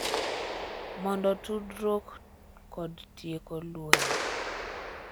Mondo tudruok kod tieko lweny